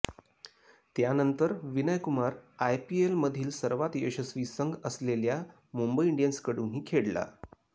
त्यानंतर विनय कुमार आयपीएलमधील सर्वात यशस्वी संघ असलेल्या मुंबई इंडियन्सकडूनही खेळला